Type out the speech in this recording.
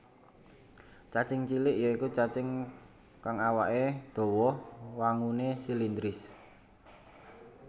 Cacing gilik ya iku cacing kang awaké dawa wanguné silindris